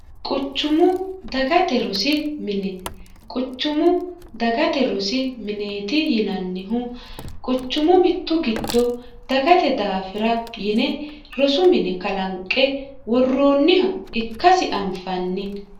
quchumu dagate rosi mine quchumu dagate rosi mineeti yinannihu quchumu mittu gitto dagate daafira yine rosu mine kalanqe worroonniha ikkasi anfanni